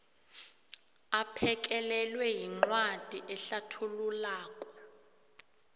aphekelelwe yincwadi ehlathululako